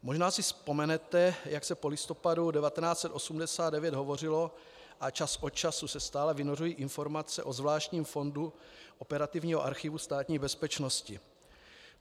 Možná si vzpomenete, jak se po listopadu 1989 hovořilo a čas od času se stále vynořují informace o zvláštním fondu operativního archivu Státní bezpečnosti.